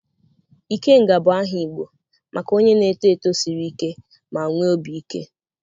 Ikenga bụ aha Igbo maka onye na-eto eto siri ike ma nwee obi ike.